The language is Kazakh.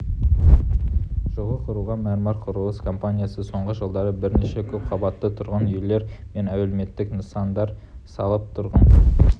жылы құрылған мәрмәр құрылыс компаниясы соңғы жылдары бірнеше көпқабатты тұрғын үйлер мен әлеуметтік нысандар салып тұрғындар